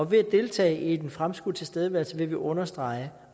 ved at deltage i den fremskudte tilstedeværelse vil vi understrege